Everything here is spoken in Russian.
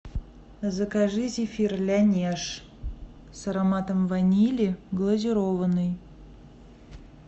закажи зефир лянеж с ароматом ванили глазированный